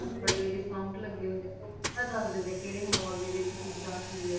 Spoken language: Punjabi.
ਫੇਰ ਖਰੀਦਾਰੀ ਵੀ ਕਰਨ ਵਾਸਤੇ ਬੜੇ discount ਲੱਗੇ ਹੁੰਦੇ ਆ ਉਹੋ ਪੂਰਾ ਦੱਸ ਦਿੰਦੇ ਵੀ ਕਿਹੜੇ mall ਦੇ ਵਿੱਚ ਕਿੱਦਾਂ ਕੀ ਹੈ